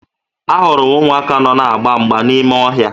Ahụrụ m ụmụaka nọ na-agba mgba n'ime ọhịa